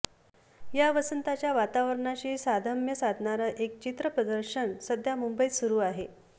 या वसंताच्या वातावरणाशी साधम्र्य साधणारं एक चित्र प्रदर्शन सध्या मुंबईत सुरू आहे